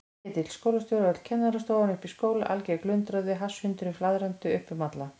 Ketill skólastjóri og öll kennarastofan uppi í skóla, alger glundroði, hasshundurinn flaðrandi upp um alla.